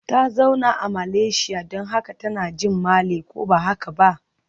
Ta zauna a Malaysia don haka tana jin Malay, ko ba haka ba?